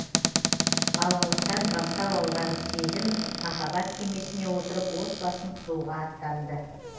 балалықтан бастау алған сезім махаббат кемесіне отырып отбасын құруға аттанды